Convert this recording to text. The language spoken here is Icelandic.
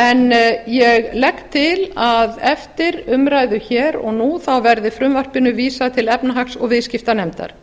en ég legg til að eftir umræðu hér og nú verði frumvarpinu vísað til efnahags og viðskiptanefndar